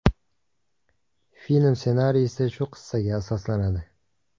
Film ssenariysi shu qissaga asoslanadi.